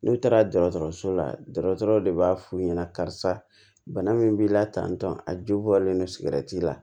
N'u taara dɔgɔtɔrɔso la dɔgɔtɔrɔ de b'a f'u ɲɛna karisa bana min b'i la tan tɔ a ju bɔlen don sigɛrɛti la